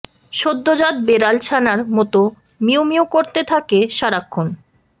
সদ্যজাত বেড়াল ছানার মতো মিউ মিউ করতে থাকে সারাক্ষণ